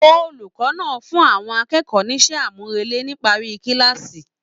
Olùkọ náà fún àwọn akẹ́kọ̀ọ́ n'isẹ amurele nipari kilaasi.